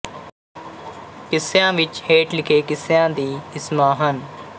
ਕਿੱਸਿਆਂ ਵਿੱਚ ਹੇਠ ਲਿਖੇ ਕਿੱਸਿਆਂ ਦੀ ਕਿਸਮਾਂ ਹਨ